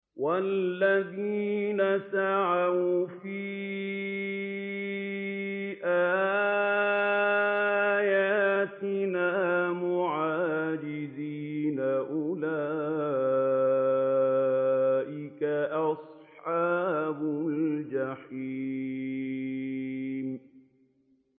وَالَّذِينَ سَعَوْا فِي آيَاتِنَا مُعَاجِزِينَ أُولَٰئِكَ أَصْحَابُ الْجَحِيمِ